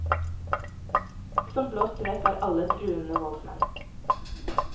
Som blåst vekk er alle truende voldsmenn.